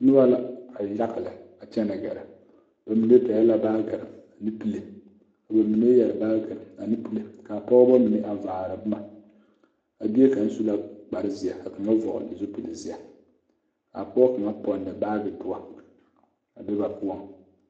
Noba la a e yaga lɛ a kyɛnɛ gɛrɛ bamine pɛgl la baagire ane pile ka ba mine yɛre baagire ane pile kaa pɔgeba mine a vaar boma a bie kaŋa su la kpare zeɛ ka kaŋa vɔgle zupile zeɛ a pɔge kaŋa pɛgle baagi doɔ a be ba poɔŋ.